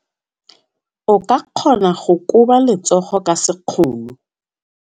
O ka kgona go koba letsogo ka sekgono.